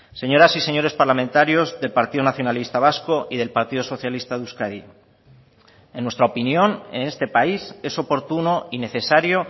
señoras y señores parlamentarios del partido nacionalista vasco y del partido socialista de euskadi en nuestra opinión en este país es oportuno y necesario